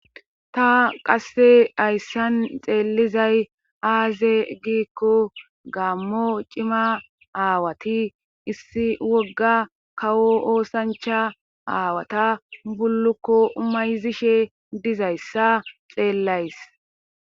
ta qasse ayssan xeellizay aaze giikko gaammo cima aawati issi wogga kawo oosancha aawata bullukko umayzishe dizayssa xeellays